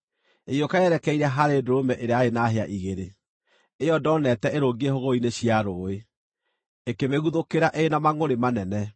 Ĩgĩũka yerekeire harĩ ndũrũme ĩrĩa yarĩ na hĩa igĩrĩ, ĩyo ndoonete ĩrũngiĩ hũgũrũrũ-inĩ cia rũũĩ, ĩkĩmĩguthũkĩra ĩrĩ na mangʼũrĩ manene.